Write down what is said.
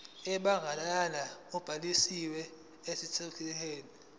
ebandakanya ubhaliso yesitshudeni